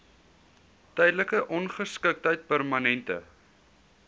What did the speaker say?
tydelike ongeskiktheid permanente